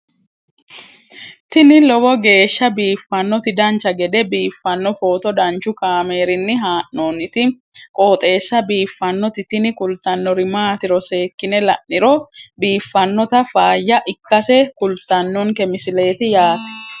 tini lowo geeshsha biiffannoti dancha gede biiffanno footo danchu kaameerinni haa'noonniti qooxeessa biiffannoti tini kultannori maatiro seekkine la'niro biiffannota faayya ikkase kultannoke misileeti yaate